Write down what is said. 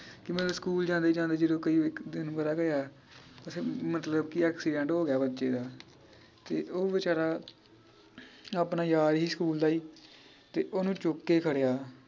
ਕਿ ਮਤਲਬ ਸਕੂਲ ਜਾਂਦੇ ਜਾਂਦੇ ਜਦੋ ਕਈ ਇਕ ਦਿਨ ਪਤਾ ਕੀ ਹੋਇਆ ਅਹ ਮਤਲਬ ਕਿ accident ਹੋਗਿਆ ਬੱਚੇ ਦਾ ਤੇ ਉਹ ਵੇਚਾਰਾ ਆਪਣਾ ਯਾਰ ਹੀ ਸਕੂਲ ਦਾ ਈ ਤੇ ਓਹਨੂੰ ਚੁੱਕ ਕੇ ਖੜ੍ਹਿਆ